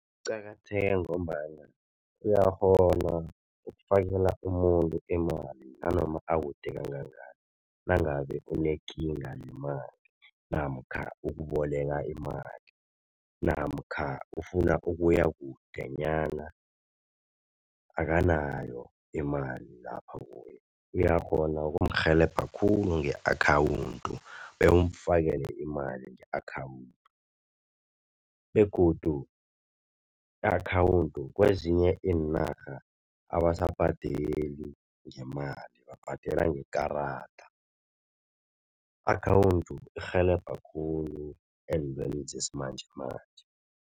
Kuqakatheke ngombana uyakghona ukufakela umuntu imali nanoma akude kangangani nangabe unekinga yemali, namkha ukuboleka imali namkha ufuna ukuya kudenyana akanayo imali lapha kuye, uyakghona ukumrhelebha khulu nge-akhawundi bewumfakele imali nge-akhawundi begodu i-akhawundi kwezinye iinarha abasabhadeli ngemali babhadela ngekarada. I-akhawundi irhelebha khulu entweni zesimanjemanje.